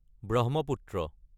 Brahmaputra